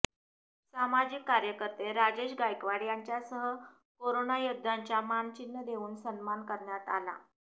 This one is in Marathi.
सामजिक कार्यकर्ते राजेश गायकवाड यांच्यासह करोनायोद्ध्यांचा मानचिन्ह देऊन सन्मान करण्यात आला